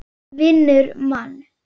Vinnur mann.